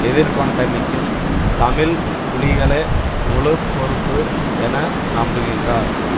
எதிர்கொண்டமைக்கும் தமிழ் புலிகளே முழு பொறுப்பு என நம்புகின்றார்